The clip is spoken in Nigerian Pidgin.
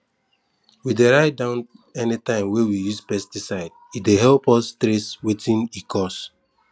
we dey write down anytime we use pesticidee dey help us trace wetin e cause